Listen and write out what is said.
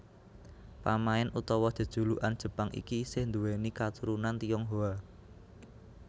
Pamain utawa jejulukan Jepang iki isih nduwèni katurunan Tionghoa